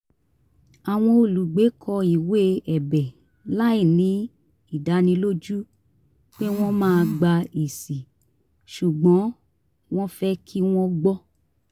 àwọn olùgbé kọ ìwé ẹ̀bẹ̀ láìní ìdánilójú pé wọ́n máa gba ẹ̀sì ṣùgbọ́n wọ́n fẹ́ kí wọ́n gbọ́